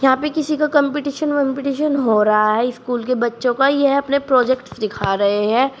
यहां पे किसी का कंपटीशन वंपटीशन हो रहा है स्कूल के बच्चों का यह अपने प्रोजेक्ट दिखा रहे हैं।